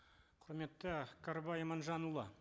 құрметті кәрібай иманжанұлы